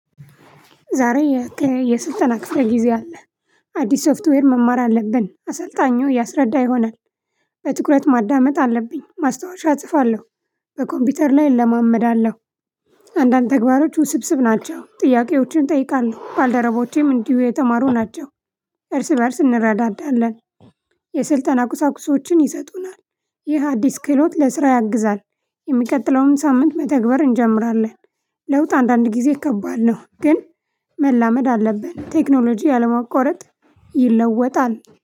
ዛሬ የስልጠና ክፍለ ጊዜ አለ አዲስ ሶፍትዌር መማር አለብን አሰልጣኙ ያስረዳ ይሆናል። በትኩረት ማዳመጥ አለብኝ ማስታወሻ እጽፋለሁ። በኮምፒውተር ላይ እለማመዳለሁ። አንዳንድ ተግባሮች ውስብስብ ናቸው ጥያቄዎችን እጠይቃለሁ ባልደረቦቼም እንዲሁም የተማሩ ናቸው። አንዳንድ ተግባሮች ውስብስብ ናቸው ጥያቄዎችን እጠይቃለሁ ባልደረቦቼም እንዲሁ የተማሩ ናቸው። ለውጥ አንዳንድጊዜ ከባድ ነው። ግን መላመድ አለብን ቴክኖሎጂ አለማቋረጥ ይለወጣል።